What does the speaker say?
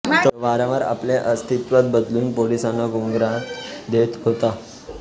तो वारंवार आपले अस्तित्व बदलून पोलिसांना गुंगारा देत होता